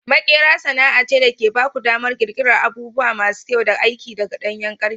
Maƙera sana'a ce da ke ba ku damar ƙirƙirar abubuwa masu kyau da aiki daga ɗanyen ƙarfe.